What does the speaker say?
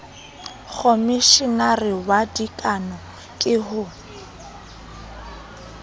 khomeshenara wa dikano ke ho